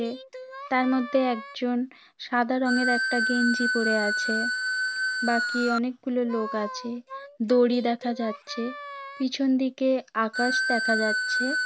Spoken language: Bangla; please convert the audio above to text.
এ তার মধ্যে একজন সাদা রঙের একটা গেঞ্জি পড়ে আছে বাকি অনেকগুলো লোক আছে দড়ি দেখা যাচ্ছে পিছন দিকে আকাশ দেখা যাচ্ছে।